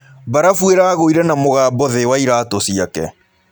Barafũ ĩragũĩre na mũgambo thĩ wa ĩratũ cĩake.